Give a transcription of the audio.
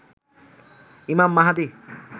ইমাম মাহাদি